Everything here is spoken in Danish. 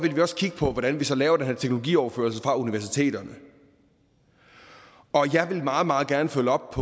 vi også kigge på hvordan vi så laver den her teknologioverførsel fra universiteterne og jeg vil meget meget gerne følge op